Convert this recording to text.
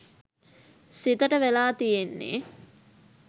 සිතට වෙලා තියෙන්නේ.